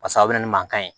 Pasa a bɛ na ni mankan ye